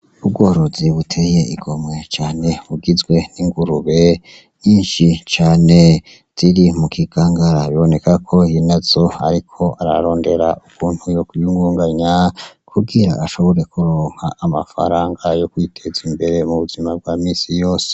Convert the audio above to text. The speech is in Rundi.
Ubworozi buteye igomwe cane bugizwe n' ingurube nyishi cane ziri mukigangara biboneka nyenezo ariko ararondera ukuntu yokwiyungunganya kugira ngo ashobore kuronka amafaranga yo kwiteza imbere mubuzima bwa misi yose.